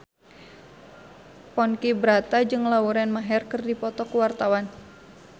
Ponky Brata jeung Lauren Maher keur dipoto ku wartawan